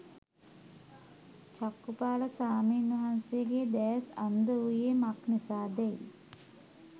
චක්ඛුපාල ස්වාමීන් වහන්සේගේ දෑස් අන්ධ වූයේ මක් නිසාදැයි